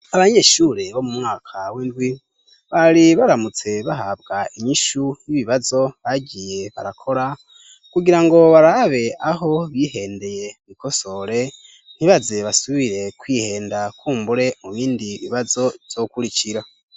Abanyeshure bo mu mwaka w'indwi bari baramutse bahabwa inyishu y'ibibazo bagiye barakora kugira ngo barabe aho bihendeye bikosore ntibaze basubire kwihenda kumbure mu bindi bibazo byokurikira.